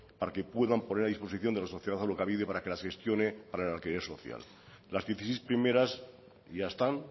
para que puedan poner a disposición de nuestra sociedad alokabide para que las gestione para el alquiler social las dieciséis primeras ya están